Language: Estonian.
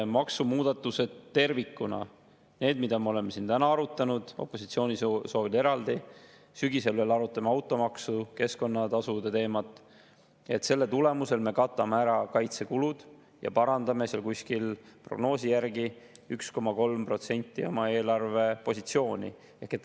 Maksumuudatused tervikuna, need, mida me oleme siin täna arutanud, opositsiooni soovil eraldi, sügisel veel arutame automaksu, keskkonnatasude teemat, nende tulemusel me katame ära kaitsekulud ja parandame prognoosi järgi umbes 1,3% oma eelarvepositsiooni.